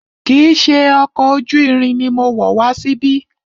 Kìí ṣe ọkọ̀ ojú irin ni mo wọ̀ wá síbí.